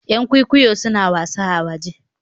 Yan kwikwiyo suna wasa a waje